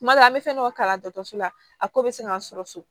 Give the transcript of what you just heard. Kuma dɔ la an bɛ fɛn dɔ kalan dɔkɔtɔrɔso la a ko bɛ se ka sɔrɔ so